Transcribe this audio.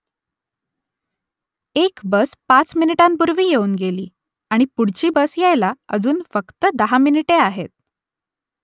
एक बस पाच मिनिटांपूर्वी येऊन गेली आणि पुढची बस यायला अजून फक्त दहा मिनिटे आहेत